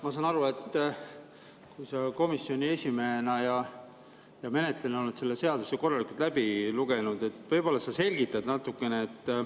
Ma saan aru, et sa komisjoni esimehena ja menetlejana oled selle seaduse korralikult läbi lugenud, võib-olla sa selgitad natukene.